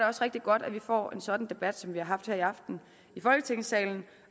også rigtig godt at vi får en sådan debat som vi har haft her i aften i folketingssalen